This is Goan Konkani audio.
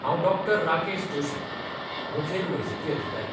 हांव डॉ. राकेश जोशी, मुखेल वैजकी अधिकारी.